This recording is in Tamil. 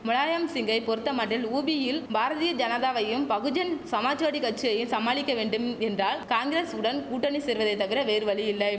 முலாயம் சிங்கை பொறுத்தமட்டில் உபியில் பாரதிய ஜனதாவையும் பகுஜன் சமாஜ்வாடி கச்சியைய சமாளிக்க வேண்டும் என்றால் காங்கிரஸ் உடன் கூட்டணி சேர்வதை தவிர வேறு வழியில்லை